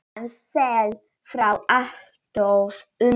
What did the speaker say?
Hann féll frá alltof ungur.